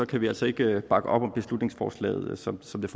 kan vi altså ikke bakke op om beslutningsforslaget som som